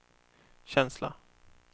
känsla